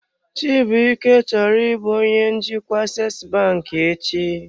Chibuike chọrọ ịbụ onye njikwa Aseesi banki echi.